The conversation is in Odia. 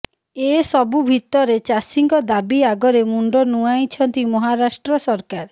ଏସବୁ ଭିତରେ ଚାଷୀଙ୍କ ଦାବି ଆଗରେ ମୁଣ୍ଡ ନୁଆଁଇଛନ୍ତି ମହାରାଷ୍ଟ୍ର ସରକାର